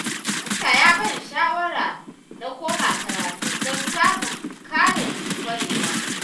Dakta ya ban shawara na koma karatu don samun ƙarin ƙwarewa